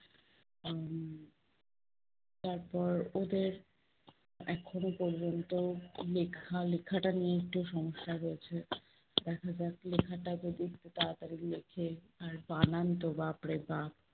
তারপর ওদের এখনো পর্যন্ত লেখা, লেখাটা নিয়ে একটু সমস্যা রয়েছে। দেখা যাক লেখাটা যদি একটু তাড়াতাড়ি লেখে। আর বানানতো বাপরে বাপ্!